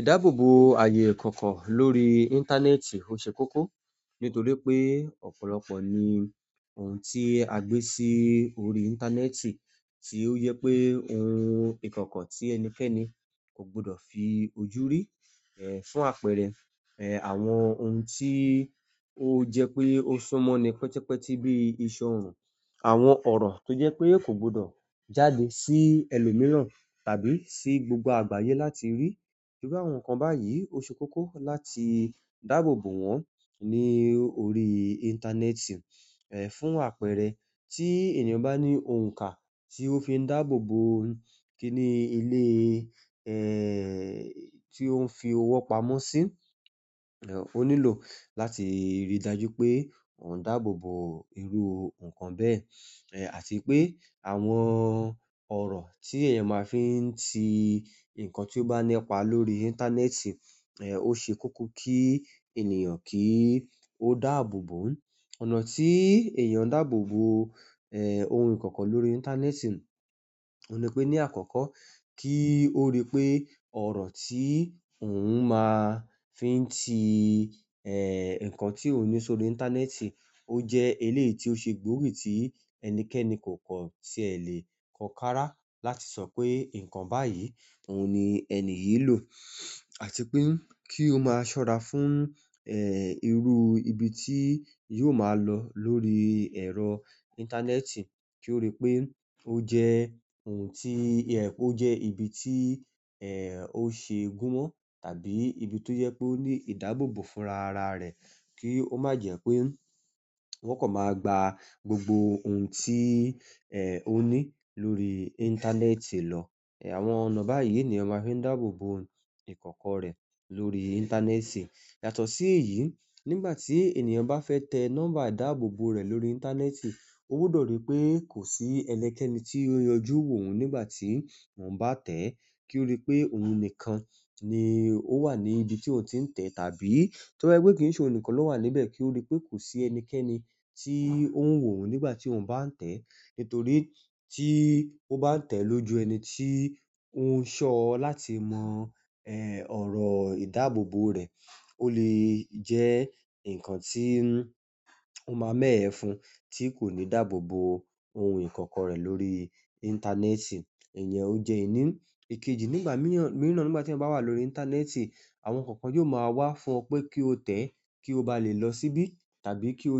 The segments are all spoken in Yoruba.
Ìdáàbòbò àyè ìkọ̀kọ̀ lórí íńtánẹ́ẹ̀tì ó ṣe kókó nítorí pé ọ̀pọ̀lọpọ̀ ni ohun tí a gbé sí orí íńtánẹ́ẹ̀tì, tí ó yẹ pé ohun ìkọ̀kọ̀ tí ẹnikẹ́ni ogbudọ̀ fi ojú rí. Ẹ̀ fún àpẹẹrẹ, ẹ̀ àwọn ohun tí ó jẹ pé ó ṣúmọ́ ni pẹ́tẹpẹ́tẹ́ bíi ìṣọ́ ọrùn, àwọn ọ̀rọ̀ tó jẹ́ pé kò gbọdọ̀ jáde sí ẹlòmíràn tàbí sí gbogbo àgbáyé láti rí. Torí àwọn nǹkan báyìí, ó ṣe kókó láti dààbòbò wọ́n ní orí íńtánẹ́ẹ̀tì. Ẹ̀ fún àpẹẹrẹ, tí ènìyàn bá ní òǹkà tí ó fi ń dààbòbò ń kíni ilé, ẹ̀ tí ó ń fi owó pamọ́ sí, ẹ̀ ó nílò láti rí i dájú pé òun dààbòbò irú nǹkan bẹ́ẹ̀. Ẹ̀ àti pé àwọn ọ̀rọ̀ tí ẹ̀yẹn máa ń fi ń tì ǹkan tí ó bá nípa lórí íńtánẹ́ẹ̀tì, ẹ̀ ó ṣe kókó kí ènìyàn kí ó dààbòbò ń. Ọ̀nà tí èèyàn ń dààbòbò ẹ̀ ohun ìkọ̀kọ̀ lórí íńtánẹ́ẹ̀tì, òun ni pé ní àkọ́kọ́ kí ó rí pé ọ̀rọ̀ tí òun máa ń fi ń tì ẹ̀ nǹkan tí òní sórí íńtánẹ́ẹ̀tì ó jẹ́ ilé tí ó ṣe gbórí tí ẹnikẹ́ni kò kọ̀ tí è lè kó kára láti sọ pé nǹkan báyìí òun ni ẹni yìí lò. Àti pé kí ó máa ṣọ́ra fún ẹ̀ irú ibi tí yóò máa lọ lórí ẹ̀rọ íńtánẹ́ẹ̀tì kí ó rí pé ó jẹ́ ohun tí ẹ̀ ó jẹ́ ibi tí ẹ̀ ó ṣe gun mọ́ tàbí ibi tó jẹ́ pé ó ní ìdáàbòbò fún ra ara rẹ̀ kí ó má jẹ́ pé wọ́n kò máa gba gbogbo ohun tí ẹ̀ ó ní lórí íńtánẹ́ẹ̀tì lọ. Ẹ̀ àwọn ọ̀nà báyìí ni èèyàn máa ń fi dààbòbò ohun ìkọ̀kọ̀ rẹ̀ lórí íńtánẹ́ẹ̀tì. Yàtọ̀ sí èyí, nígbà tí ènìyàn bá fẹ́ tẹ nọ́mbà ìdáàbòbò rẹ̀ lórí íńtánẹ́ẹ̀tì, ó gbọdọ̀ rí pé kò sí ẹnikẹ́ni tí ó yọjú wò oun nígbà tí òun bá tẹ́ ẹ́ kí ó rí pé òun nìkan ni ó wà ní ibi tí òun ti ń tẹ tàbí torí pé kí ń ṣe òun nìkan ló wà níbẹ̀ kí ó rí pé kò sí ẹnikẹni tí ó ń wò ó nígbà tí òun bá ń tẹ́ ẹ. Nítorí tí ó bá ń tẹ lóju ẹni tí ó ń ṣọ láti mọ̀ ẹ̀ ọ̀rọ̀ ìdáàbòbò rẹ̀, ó lè jẹ́ nǹkan tí ó máa mẹ́yẹ fún tí kò ní dààbòbò ohun ìkọ̀kọ̀ rẹ̀ lórí íńtánẹ́ẹ̀tì. Ènìyàn o je ẹni ikeji nígbà miran nígbà ti eyan ba wa lórí intaaneti àwọn nkan kan yio ma wa fún o pe kio te kio ba le lo sibi tàbí ki o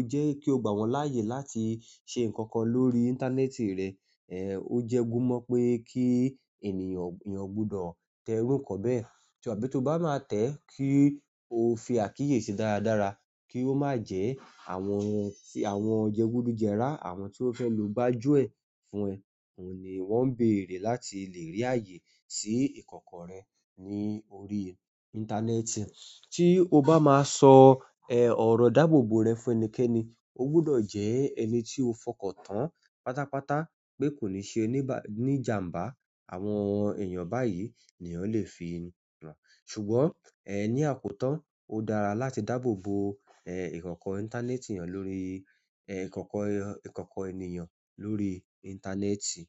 gba won laye láti se nkan kan lórí intaaneti re. Ẹ̀ ó jẹ́ gun mọ́ pé kí ènìyàn, èèyàn gbudọ̀ tẹ irú nǹkan bẹ́ẹ̀. Ta bí tó bá máa tẹ́ ẹ kí ó fi àkíyèsí dáradára kí ó má jẹ́ àwọn ohun tí àwọn ọ̀jẹ́ gbúdú jẹ rá, àwọn tí ó fẹ́ lò bá jó ẹ, fún ẹ, òun ni wọ́n ń bèrè láti lè rí ààyè sí ìkọ̀kọ̀ rẹ ní orí íńtánẹ́ẹ̀tì. Tí o bá máa sọ ẹ̀ ọ̀rọ̀ ìdáàbòbò rẹ fún ẹnikẹ́ni, ó gbudọ̀ jẹ́ ẹni tí o fọkàn tán pátápátá pé kò le ṣe níjàǹbá àwọn èèyàn báyìí ni eyan lè fi hàn. Ṣùgbọ́n ẹ̀ ní àpótan, ó dára láti dààbòbò ẹ̀ ìkọ̀kọ̀ íńtánẹ́ẹ̀tì èèyàn lórí ẹ̀ ìkọ̀kọ̀, ìkọ̀kọ̀ ènìyàn lórí íńtánẹ́ẹ̀tì.